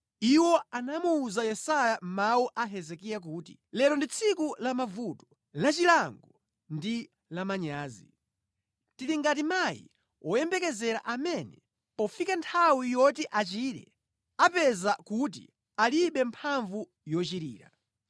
Iwo anamuwuza kuti, “Hezekiya akunena kuti, ‘Lero ndi tsiku lamavuto, lachilango ndi lamanyazi. Ife lero tili ngati mayi woyembekezera amene pofika nthawi yoti achire akupezeka kuti alibe mphamvu zoberekera.’